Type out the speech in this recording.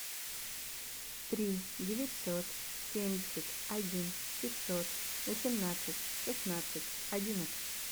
три девятьсот семьдесят один пятьсот восемнадцать шестнадцать одиннадцать